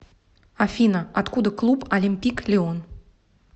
афина откуда клуб олимпик лион